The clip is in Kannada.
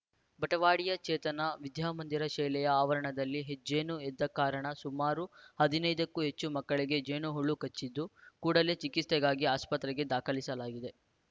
ಬಟವಾಡಿಯ ಚೇತನ ವಿದ್ಯಾಮಂದಿರ ಶೆಲೆಯ ಆವರಣದಲ್ಲಿ ಹೆಜ್ಜೇನು ಎದ್ದ ಕಾರಣ ಸುಮಾರು ಹದಿನೈದಕ್ಕೂ ಹೆಚ್ಚು ಮಕ್ಕಳಿಗೆ ಜೇನುಹುಳು ಕಚ್ಚಿದ್ದು ಕೂಡಲೇ ಚಿಕಿತ್ಸೆಗಾಗಿ ಆಸ್ಪತ್ರೆಗೆ ದಾಖಲಿಸಲಾಗಿದೆ